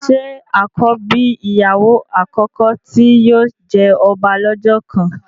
ṣe àkọ́bí ìyàwó àkọ́kọ́ tí yóò jẹ ọba lọ́jọ́ kan?